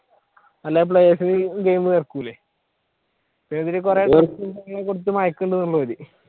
അല്ലെ players നിർത്തൂലെ